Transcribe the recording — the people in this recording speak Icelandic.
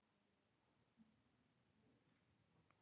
Heimir: Það er ekki að spyrja að því hvað þú vilt?